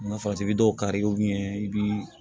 Ma fatigi be dɔw kari i bi